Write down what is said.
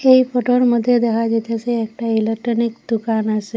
এই ফটোর মধ্যে দেখা যাইতাসে একটা ইলেকট্রনিক দোকান আসে।